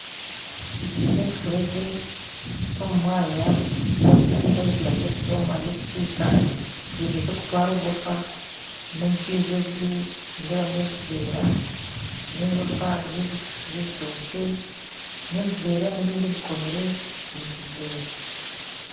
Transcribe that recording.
Eki n'ekifuregye ky'omu mwanya sayidi na sayidi hariyo ekisiika ekifuregye ky'okutwara oburoofa n'ebyaizi abibi nindeebamu ebiveera n'ebiroofa by'ebishuushu by'ebitookye n'ebiveera n'ebindi bikomire omu kiveera